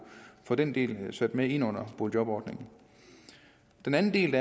få den del med ind under boligjobordningen den anden del